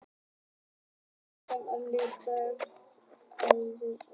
Jón Örn Guðbjartsson: Þannig að kvótinn er í raun og veru einhver óljós stærð?